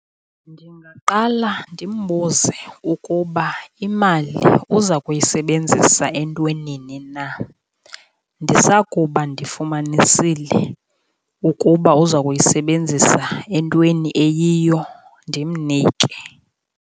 Ndingaqala ndimbuze ukuba imali uza kuyisebenzisa entwenini na, ndisakuba ndifumanisile ukuba uza kuyisebenzisa entweni eyiyo, ndimnike.